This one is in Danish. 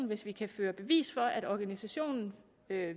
hvis vi kan føre bevis for at en organisation